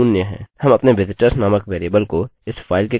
हम अपने visitors नामक वेरिएबल को इस फाइल के कंटेंट्स में निर्धारित कर रहे हैं